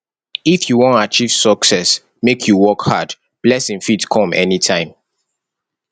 if you wan achieve success make you work hard blessing fit come anytime